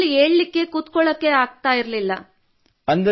ಬಿಲ್ಕುಲ್ ಏಳಲು ಕುಳಿತುಕೊಳ್ಳಲು ಸಾಧ್ಯವಾಗುತ್ತಿರಲಿಲ್ಲ